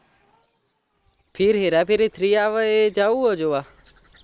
ફિર Hera Pheri three આવે એ જાઉં હે જોવા